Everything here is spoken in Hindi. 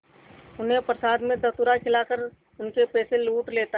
उन्हें प्रसाद में धतूरा खिलाकर उनके पैसे लूट लेता है